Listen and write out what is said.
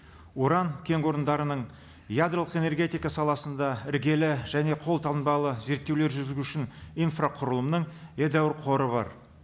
уран орындарының ядролық энергетика саласында іргелі және қолтанбалы зерттеулер жүргізу үшін инфрақұрылымның едәуір қоры бар